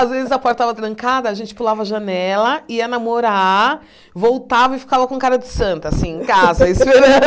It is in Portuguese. Às vezes a porta estava trancada, a gente pulava a janela, ia namorar, voltava e ficava com cara de santa, assim, em casa, esperando.